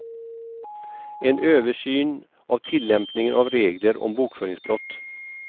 En översyn av tillämpningen av regler om bokföringsbrott.